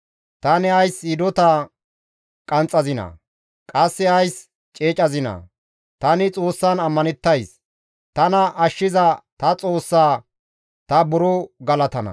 Tani ays hidota qanxxazinaa? Qasse ays ceecazinaa? Tani Xoossan ammanettays; tana ashshiza ta Xoossaa ta buro galatana.